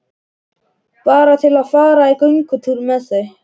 Bara til að fara í göngutúr með þau.